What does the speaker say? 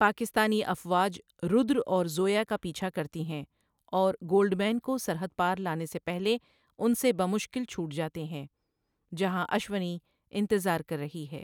پاکستانی افواج رودر اور زویا کا پیچھا کرتی ہیں اور گولڈ مین کو سرحد پار لانے سے پہلے ان سے بہ مشکل چھوٹ جاتے ہیں، جہاں اشونی انتظار کر رہی ہے۔